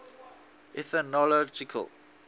ethnological